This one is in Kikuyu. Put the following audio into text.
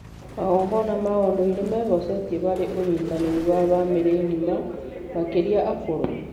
Magongona ma ũndũire mehocetie harĩ ũnyitanĩri wa bamĩrĩ ng’ima, makĩria akũrũ.